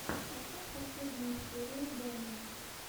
поставь последнюю серию доми